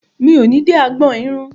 Mi ò ní dé agbọn irun.